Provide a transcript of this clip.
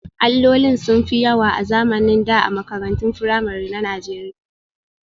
Allolin sun fi yawa a zamanin da a makarantun firamare na Najeriya